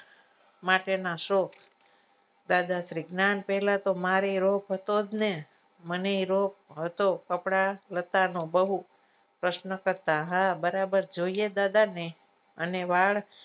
માટેના શોખ દાદાશ્રી ના પેલાતો મારી મને રોગ હતો કપડા નતાનો બહુ પ્રશ્ન કરતા હા બરાબર જોઈએ દાદાને અને વાળ